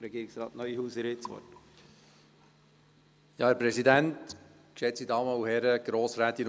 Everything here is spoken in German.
Regierungsrat Neuhaus, Sie haben das Wort.